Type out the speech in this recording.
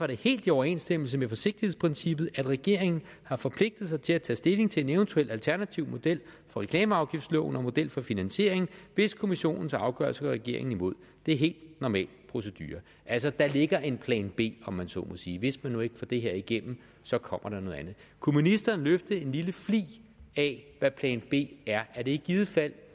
det helt i overensstemmelse med forsigtighedsprincippet at regeringen har forpligtet sig til at tage stilling til en eventuel alternativ model for reklameafgiftsloven og model for finansiering hvis kommissionens afgørelse går regeringen imod det er helt normal procedure altså der ligger en plan b om man så må sige hvis man nu ikke får det her igennem så kommer der noget andet kunne ministeren løfte en lille flig af hvad plan b er er det i givet fald